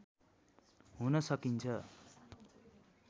हुन सकिन्छ